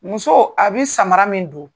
Musoo a be samara min don